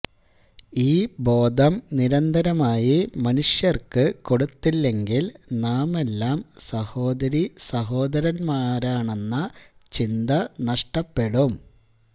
ഈ ബോധം നിരന്തരമായി മനുഷ്യര്ക്കു കൊടുത്തില്ലെങ്കില് നാമെല്ലാം സഹോദരീസഹോദരന്മാരാണെന്ന ചിന്ത നഷ്ടപ്പെടും